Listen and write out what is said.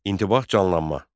İntibah canlanma.